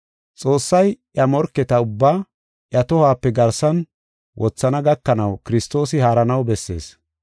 Xoossay iya morketa ubbaa iya tohuwape garsan wothana gakanaw Kiristoosi haaranaw bessees.